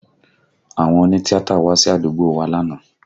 Àwọn òní tíátà wá sí àdúgbò wa lánàá